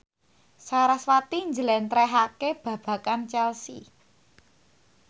sarasvati njlentrehake babagan Chelsea